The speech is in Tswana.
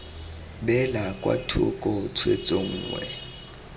beelwa kwa thoko tshwetso nngwe